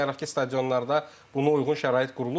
Baxmayaraq ki, stadionlarda buna uyğun şərait qurulub.